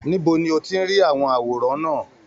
Níbo ni o ti ri àwọn àwòrán náà?